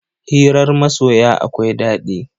Hirar masoya akwai daɗi.